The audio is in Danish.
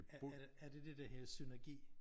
Er er det dét der hedder synergi?